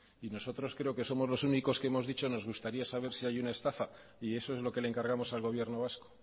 y nosotros creo que somos los únicos que hemos dicho que nos gustaría saber si hay una estafa y eso es lo que le encargamos al gobierno vasco